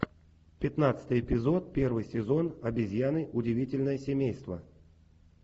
пятнадцатый эпизод первый сезон обезьяны удивительное семейство